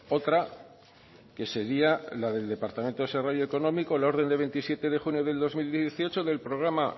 otra que sería la del departamento de desarrollo económico la orden de veintisiete de junio de dos mil dieciocho del programa